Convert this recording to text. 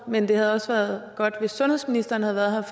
men det havde også været godt hvis sundhedsministeren havde været her